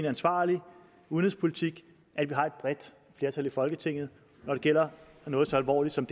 ansvarlig udenrigspolitik at vi har et bredt flertal i folketinget når det gælder noget så alvorligt som